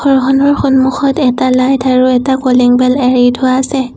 সন্মুখত এটা লাইট আৰু এটা কলিং বেল এৰি থোৱা আছে।